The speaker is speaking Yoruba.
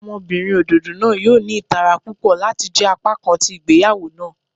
Ọmọbinrin ododo naa yoo ni itara pupọ lati jẹ apakan ti igbeyawo naa.